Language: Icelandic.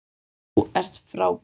Þú ert frábær.